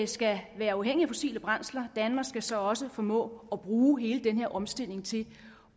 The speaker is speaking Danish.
skal være uafhængig af fossile brændsler og danmark skal så også formå at bruge hele den omstilling til